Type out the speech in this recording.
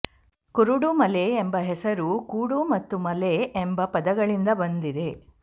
ಕುರುಡು ಮಲೆ ಎಂಬ ಹೆಸರು ಕೂಡು ಮತ್ತು ಮಲೆ ಎಂಬ ಪದಗಳಿಂದ ಬಂದಿದೆ